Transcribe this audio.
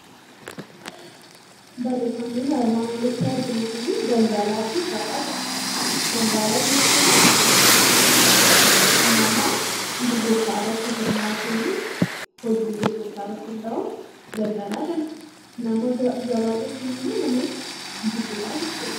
Barreeffamni nuyi armaan olitti arginu kun daldalaa fi gabaa jedha. daldalaa jechuun nama gurgurta irratti hirmaatun, hojii gurgurta irratti hunda'u daldaala jenna. gabaa jechuun immo nama bitudha jechudha.